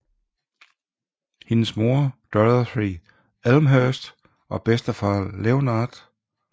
Hendes mor Dorothy Elmhirst og bedstefar Leonard K